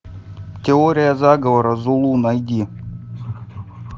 теория заговора зулу найди